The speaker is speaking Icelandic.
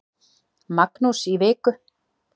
Magnús í viku.